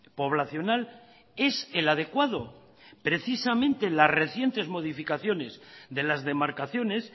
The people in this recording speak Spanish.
poblacional es el adecuado precisamente las recientes modificaciones de las demarcaciones